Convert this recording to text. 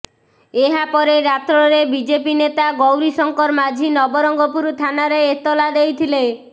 ଏହାପରେ ରାତ୍ରରେ ବିଜେପି ନେତା ଗୌରୀଶଙ୍କର ମାଝୀ ନବରଙ୍ଗପୁର ଥାନାରେ ଏତଲା ଦେଇଥିଲେ